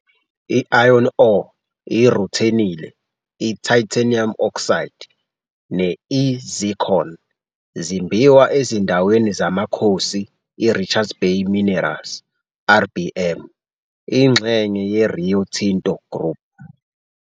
I-iron ore, I-ruthenile, i-titanium oxide, ne-i-zircon zimbiwa ezindaweni zamakhosi i Richards Bay Minerals, RBM, ingxenye ye-Rio Tinto Group.